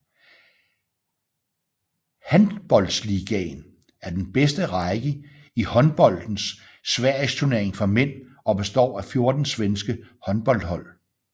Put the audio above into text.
Handbollsligan er er den bedste række i håndboldens sverigesturnering for mænd og består af 14 svenske håndboldhold